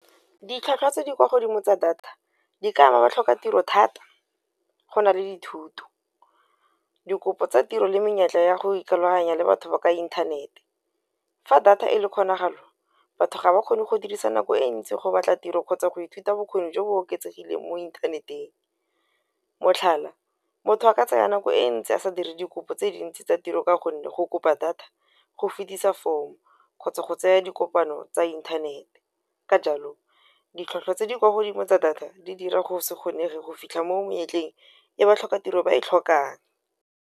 Ditlhwatlhwa tse di kwa godimo tsa data di ka ba ba tlhoka tiro thata go na le dithuto, dikopo tsa tiro le menyetla ya go ikaloganya le batho ba ka inthanete. Fa data e le kgonagalo batho ga ba kgone go dirisa nako e ntsi go batla tiro kgotsa go ithuta bokgoni jo bo oketsegileng mo inthaneteng. Motlhala motho a ka tsaya nako e ntsi a sa dire dikopo tse dintsi tsa tiro ka gonne, go kopa data go kgotsa go tseya dikopano tsa inthanete, ka jalo ditlhwatlhwa tse di kwa godimo tsa data di dira go se kgonege go fitlha mo monyetleng e batlhokatiro ba e tlhokang.